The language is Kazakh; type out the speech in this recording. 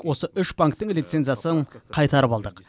осы үш банктің лицензиясын қайтарып алдық